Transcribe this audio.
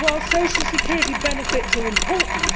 Social security benefits are important